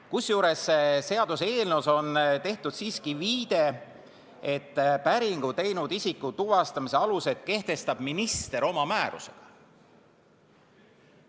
Kusjuures seaduseelnõus on tehtud siiski viide, et päringu teinud isiku tuvastamise alused kehtestab minister oma määrusega.